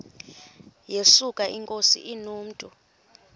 yesuka inkosi inomntu